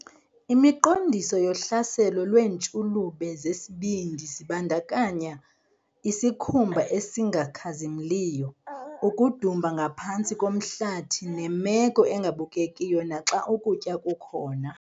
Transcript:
Imiqondiso yohlaselo lweentshulube zesibindi zibandakanya isikhumba esingakhazimliyo, ukudumba ngaphantsi komhlathi nemeko engabukekiyo naxa ukutya kukhona.